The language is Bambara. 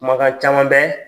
Mankan caman bɛ